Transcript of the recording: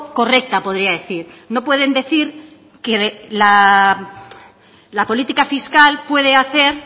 correcta podría decir no pueden decir que la política fiscal puede hacer